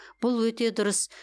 бұл өте дұрыс